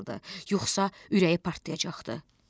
Yoxsa ürəyi partlayacaqdı.